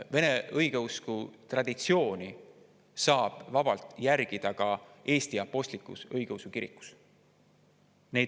Vene õigeusu traditsiooni saab vabalt järgida ka Eesti Apostlik-Õigeusu Kirikus.